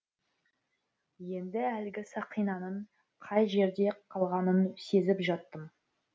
енді әлгі сақинаның қай жерде қалғанын сезіп жаттым